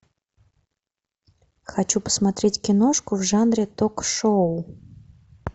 хочу посмотреть киношку в жанре ток шоу